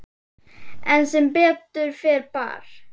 En sem betur fer bar